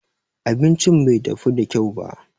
Abincin bai dafu da kyau ba.